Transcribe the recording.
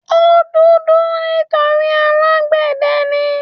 O dúdú nítorí alágbẹ̀dẹ ni.